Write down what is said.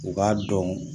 U b'a dɔn